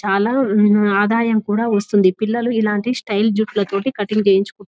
చాలా ఆఁ ఆదాయం కూడా వస్తుంది పిల్లలు ఇలాంటి స్టైల్ జుట్ల తోటి కటింగ్ చేయించు --..